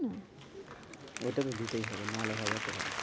ওটা তো দিতেই হবে, নাহলে হবে কোথায়